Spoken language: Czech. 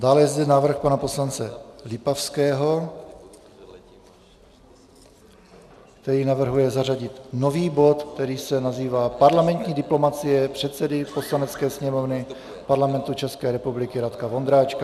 Dále je zde návrh pana poslance Lipavského, který navrhuje zařadit nový bod, který se nazývá Parlamentní diplomacie předsedy Poslanecké sněmovny Parlamentu České republiky Radka Vondráčka.